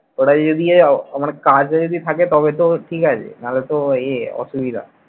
এবারে যদি আহ মানে কাজ যদি থাকে তবে তো ঠিক আছে নালে তো এ অসুবিধা।